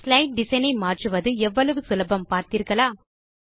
slide design ஐ மாற்றுவது எவ்வளவு சுலபம் பார்த்தீர்களா